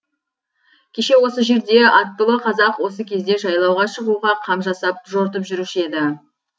кеше осы жерде аттылы қазақ осы кезде жайлауға шығуға қам жасап жортып жүруші еді